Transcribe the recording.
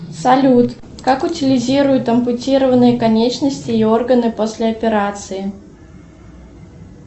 салют как утилизируют ампутированные конечности и органы после операции